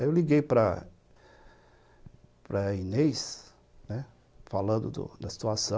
Aí eu liguei para a Inês, falando da situação,